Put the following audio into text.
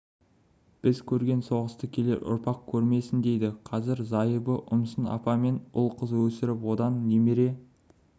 біз көрген соғысты келер ұрпақ көрмесін дейді қазір зайыбы ұмсын апамен ұл-қыз өсіріп одан немере